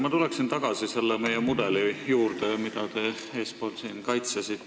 Ma tulen tagasi selle meie mudeli juurde, mida te siin kaitsesite.